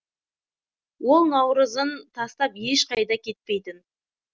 ол наурызын тастап ешқайда кетпейтін